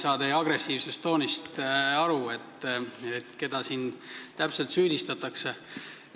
Ma ei mõista teie agressiivset tooni – keda siin täpselt süüdistatakse?